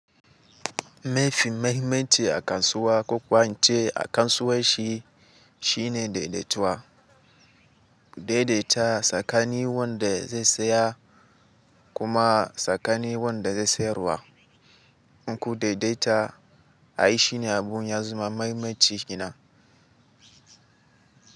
Mafi mahimmanci a kasuwa ko kuwa ince a kasuwanci, shine daidaituwa. Daidaita tsakanin wanda zai saya, kuma tsakanin wanda zai sayarwa. In ku daidaita, ai shi ne abun ya zama mahimmanci kenan.